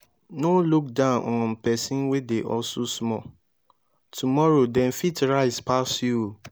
no look down on persin wey dey hustle small tomorrow dem fit rise pass you